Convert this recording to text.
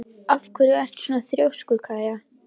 Af hverju ertu svona þrjóskur, Kaía?